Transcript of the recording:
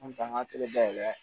An ta ka dayɛlɛ